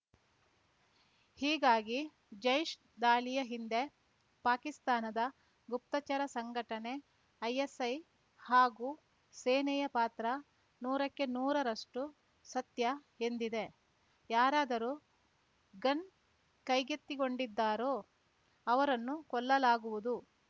ಹೀಗಾಗಿ ಜೈಷ್‌ ದಾಳಿಯ ಹಿಂದೆ ಪಾಕಿಸ್ತಾನದ ಗುಪ್ತಚರ ಸಂಘಟನೆ ಐಎಸ್‌ಐ ಹಾಗೂ ಸೇನೆಯ ಪಾತ್ರ ನೂರಕ್ಕೆ ನೂರರಷ್ಟುಸತ್ಯ ಎಂದಿದೆ ಯಾರಾದರು ಗನ್‌ ಕೈಗೆತ್ತಿಕೊಂಡಿದ್ದಾರೋ ಅವರನ್ನು ಕೊಲ್ಲಲಾಗುವುದು